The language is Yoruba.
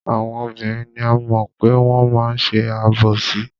Àwọn obìnrin ni a mọ̀ pé wọ́n máa ń ṣe àbòsí.